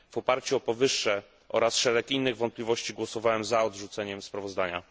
W oparciu o powyższe oraz szereg innych wątpliwości głosowałem za odrzuceniem sprawozdania.